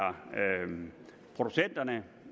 producenterne